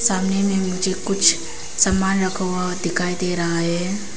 सामने में मुझे कुछ सामान रखा हुआ दिखाई दे रहा है।